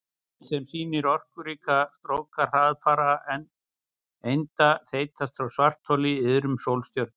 Mynd sem sýnir orkuríka stróka hraðfara einda þeytast frá svartholi í iðrum sólstjörnu.